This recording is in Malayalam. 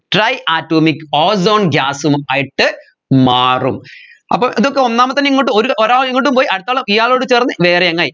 tri atomic ozone gas ഉം ആയിട്ട് മാറും അപ്പോ ഇത് ഒക്കെ ഒന്നാമത്തന്നെ ഇങ്ങോട്ട് ഒര് ഒരാൾ ഇങ്ങോട്ടും പോയി അടുത്താൾ ഇയാളോട് ചേർന്ന് വേറെയങ്ങായി